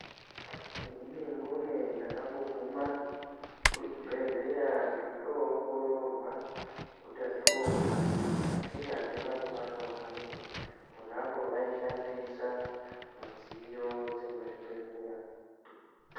Inini mbune ndakamboguma kuchibhehlera ndochoongororwa utachiona asi handina kubatwa hangu ponapo aishandisa midziyo dzekuchibhedhlera.